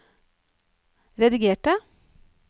redigerte